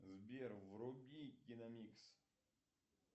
сбер вруби киномикс